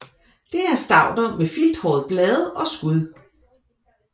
Det er stauder med filthårede blade og skud